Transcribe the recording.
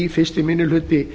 fyrsti minni hluti